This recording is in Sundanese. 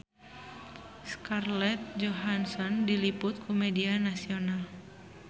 Scarlett Johansson diliput ku media nasional